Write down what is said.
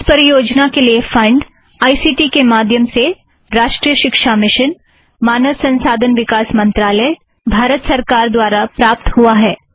इस परियोजना के लिए फ़ंड़ आईसीटी के माध्यम से राष्ट्रीय शिक्षा मिशन मानव संसाधन विकास मंत्रालय भारत सरकार द्वारा प्राप्त हुआ है